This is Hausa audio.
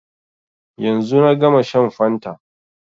Yanzu na gama shan fanta